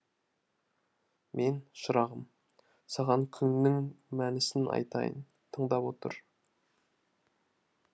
мен шырағым саған күңнің мәнісін айтайын тыңдап отыр